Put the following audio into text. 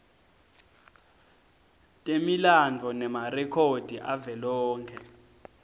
temilandvo nemarekhodi avelonkhe